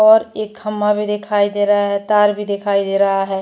और एक खंभा भी दिखाई रहा है तार भी दिखाई दे रहा है।